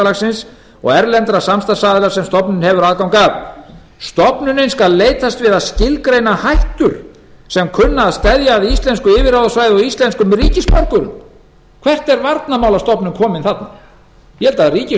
atlantshafsbandalagsins og erlendra samstarfsaðila sem stofnunin hefur aðgang að stofnunin skal leitast við að skilgreina hættur sem kunna að steðja að íslensku yfirráðasvæði og íslenskum ríkisborgurum hvert er varnarmálastofnun komin þarna ég held